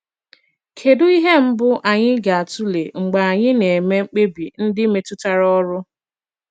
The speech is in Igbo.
Kedụ ihe mbụ anyị ga - atụle mgbe anyị na - eme mkpebi ndị metụtara ọrụ?